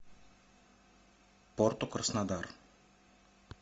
порту краснодар